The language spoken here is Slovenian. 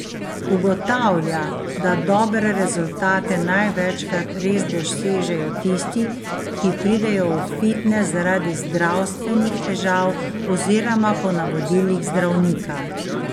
Ugotavlja, da dobre rezultate največkrat res dosežejo tisti, ki pridejo v fitnes zaradi zdravstvenih težav oziroma po navodilih zdravnika.